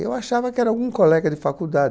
Eu achava que era algum colega de faculdade.